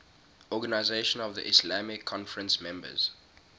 organisation of the islamic conference members